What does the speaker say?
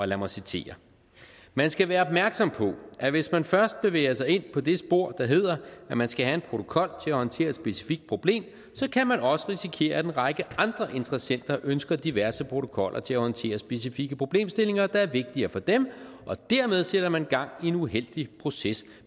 lad mig citere man skal være opmærksom på at hvis man først bevæger sig ind på det spor der hedder at man skal have en protokol til at håndtere et specifikt problem så kan man også risikere at en række andre interessenter ønsker diverse protokoller til at håndtere specifikke problemstillinger der er vigtigere for dem og dermed sætter man gang i en uheldig proces